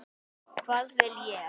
Hvað vil ég?